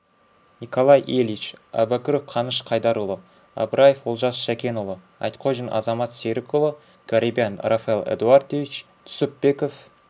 николай ильич әубәкіров қаныш қайдарұлы абраев олжас шәкенұлы айтқожин азамат серікұлы гарибян рафаэль эдуардович түсіпбеков